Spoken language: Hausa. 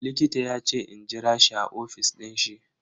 Likita yace in jira shi a ofis din shi.